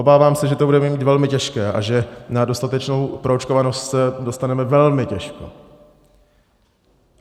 Obávám se, že to bude mít velmi těžké a že na dostatečnou proočkovanost se dostaneme velmi těžko.